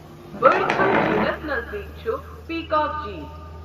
بڈکھل جیٖلَس نزدیٖک چھُ پِیکاک جیٖل۔